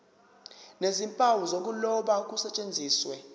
nezimpawu zokuloba kusetshenziswe